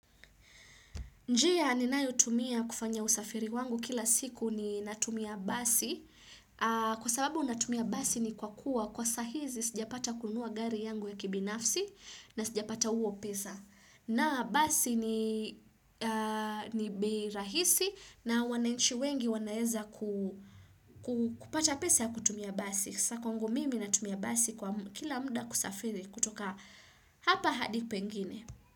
Njea ninayo tumia kufanya usafiri wangu kila siku ni natumia basi. Kwa sababu natumia basi ni kwa kuwa kwa sahizi sijapata kunua gari yangu ya kibinafsi na sijapata huo pesa. Na basi ni bei rahisi na wananchi wengi wanaeza kupata pesa ya kutumia basi. Sakwangu mimi natumia basi kwa kila mda kusafiri kutoka hapa hadi pengine.